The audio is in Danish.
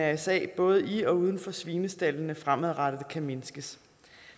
mrsa både i og uden for svinestaldene fremadrettet kan mindskes